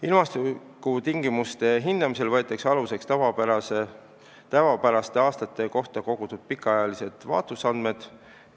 Ilmastikutingimuste hindamisel võetakse aluseks tavapäraste aastate kohta kogutud pikaajalised vaatlusandmed.